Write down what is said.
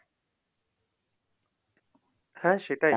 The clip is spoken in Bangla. হ্যাঁ, সেটাই।